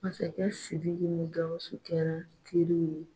Masakɛ Sidiki ni Gawusu kɛra teriw ye.